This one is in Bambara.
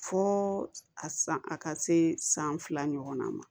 Fo a san a ka se san fila ɲɔgɔnna ma